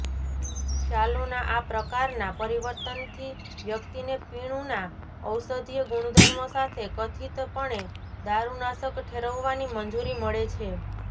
ખ્યાલોના આ પ્રકારના પરિવર્તનથી વ્યક્તિને પીણુંના ઔષધીય ગુણધર્મો સાથે કથિતપણે દારૂનાશક ઠેરવવાની મંજૂરી મળે છે